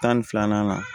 Tan ni filanan